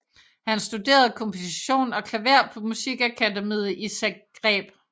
Han studerede komposition og klaver på Musikakademiet i Zagreb